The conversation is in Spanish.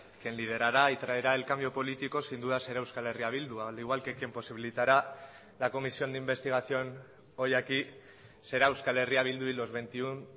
quien liderará y traerá el cambio político sin duda será euskal herria bildu al igual que quien posibilitará la comisión de investigación hoy aquí será euskal herria bildu y los veintiuno